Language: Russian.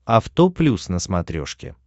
авто плюс на смотрешке